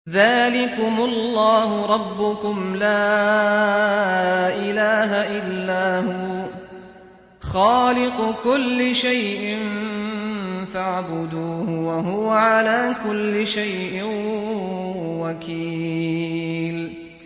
ذَٰلِكُمُ اللَّهُ رَبُّكُمْ ۖ لَا إِلَٰهَ إِلَّا هُوَ ۖ خَالِقُ كُلِّ شَيْءٍ فَاعْبُدُوهُ ۚ وَهُوَ عَلَىٰ كُلِّ شَيْءٍ وَكِيلٌ